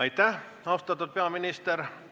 Aitäh, austatud peaminister!